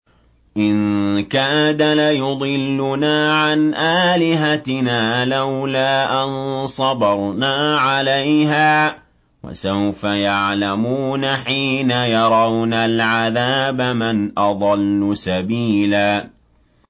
إِن كَادَ لَيُضِلُّنَا عَنْ آلِهَتِنَا لَوْلَا أَن صَبَرْنَا عَلَيْهَا ۚ وَسَوْفَ يَعْلَمُونَ حِينَ يَرَوْنَ الْعَذَابَ مَنْ أَضَلُّ سَبِيلًا